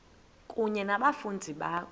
kunye nabafundi bakho